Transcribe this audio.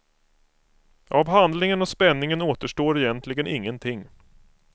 Av handlingen och spänningen återstår egentligen ingenting.